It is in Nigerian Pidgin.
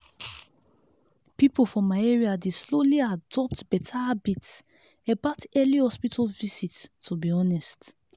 people for my area dey slowly adopt better habits about early hospital visit to be honest.